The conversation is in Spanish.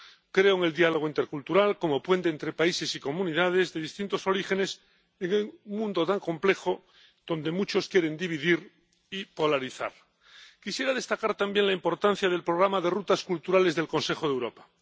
creo en el diálogo intercultural como puente entre países y comunidades de distintos orígenes en un mundo tan complejo, donde muchos quieren dividir y polarizar. Quisiera destacar también la importancia del programa de Itinerarios Culturales del Consejo de Europa.